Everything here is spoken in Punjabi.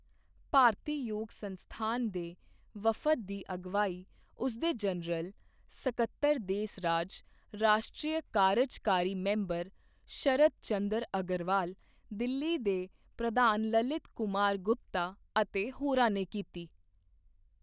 ਭਾਰਤੀ ਯੋਗ ਸੰਸਥਾਨ ਦੇ ਵਫ਼ਦ ਦੀ ਅਗਵਾਈ ਉਸਦੇ ਜਨਰਲ ਸਕੱਤਰ ਦੇਸ ਰਾਜ, ਰਾਸ਼ਟਰੀ ਕਾਰਜਕਾਰੀ ਮੈਂਬਰ ਸ਼ਰਤ ਚੰਦਰ ਅਗਰਵਾਲ, ਦਿੱਲੀ ਦੇ ਪ੍ਰਧਾਨ ਲਲਿਤ ਕੁਮਾਰ ਗੁਪਤਾ ਅਤੇ ਹੋਰਾਂ ਨੇ ਕੀਤੀ।